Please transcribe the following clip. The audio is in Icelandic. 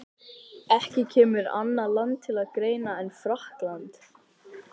Ekki kemur annað land til greina en Frakkland.